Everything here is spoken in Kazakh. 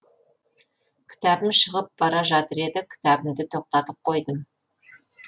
кітабым шығып бара жатыр еді кітабымды тоқтатып қойдым